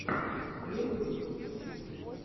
первый выпуск стиг